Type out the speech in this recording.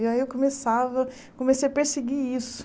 E aí eu começava comecei a perseguir isso.